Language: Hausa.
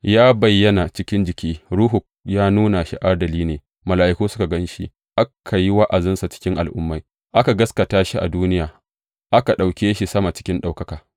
Ya bayyana cikin jiki, Ruhu ya nuna shi adali ne, mala’iku suka gan shi, aka yi wa’azinsa cikin al’ummai, aka gaskata shi a duniya, aka ɗauke shi sama cikin ɗaukaka.